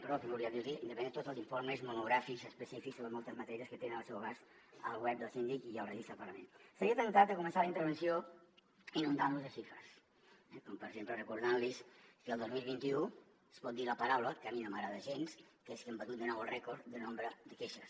perdó primer volia dir los independentment de tots els informes monogràfics específics sobre moltes matèries que tenen al seu abast al web del síndic i al registre del parlament estaria temptat de començar la intervenció inundant los de xifres eh com per exemple recordant los que el dos mil vint u es pot dir la paraula que a mi no m’agrada gens que és que hem batut de nou el rècord de nombre de queixes